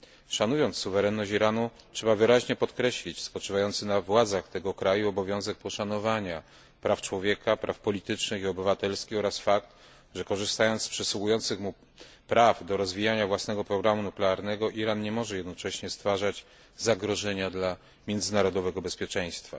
Szanując suwerenność Iranu, trzeba wyraźnie podkreślić spoczywający na władzach tego kraju obowiązek poszanowania praw człowieka, praw politycznych i obywatelskich oraz fakt, że korzystając z przysługujących mu praw do rozwijania własnego programu nuklearnego Iran nie może jednocześnie stwarzać zagrożenia dla międzynarodowego bezpieczeństwa.